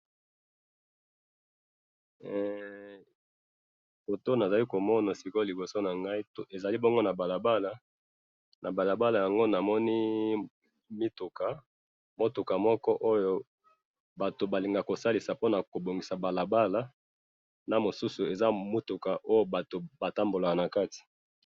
photo nazali komona sikoyo liboso nangai, ezali bongo na balabala, na balabala yango namoni mituka. mutuka moko oyo batu balinga kosalisa po nakobomisa balabala, na mosusu eza mutuka oyo batu batambola nakati